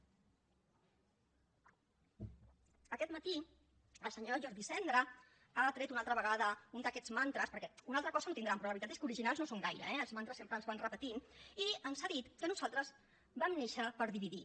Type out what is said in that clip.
aquest matí el senyor jordi sendra ha tret una altra vegada un d’aquests mantres perquè una altra cosa no tindran però la veritat és que originals no ho són gaire eh els mantres sempre els van repetint i ens ha dit que nosaltres vam néixer per dividir